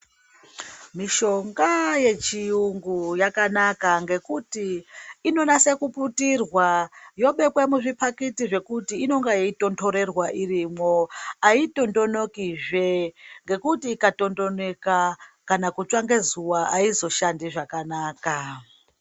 mishonga yechiyungu yakanaka ngekuti inonaswe kuputirwa yobekwa muzvipakiti zvekuti inenge yeitonhorerwa irimwo. Haitondonokizve ngekuti ikatondoneka kana kutswa ngezuva haizo shandi zvakanaka.